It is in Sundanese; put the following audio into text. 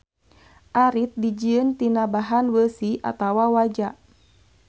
Arit dijieun tina bahan beusi atawa waja.